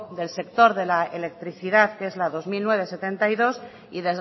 del sector de la electricidad que es la dos mil nueve barra setenta y dos y